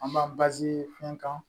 An b'a fɛn kan